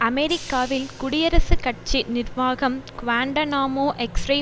அமெரிக்காவில் குடியரசுக் கட்சி நிர்வாகம் குவாண்டனாமோ எக்ஸ்ரே